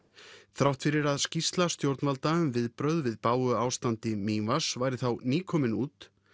þrátt fyrir að skýrsla stjórnvalda um viðbrögð við bágu ástandi Mývatns væri þá nýkomin út